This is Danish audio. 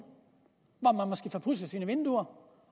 hvor pudset sine vinduer